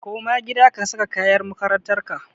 Koma gida ka saka kayan makarantar ka!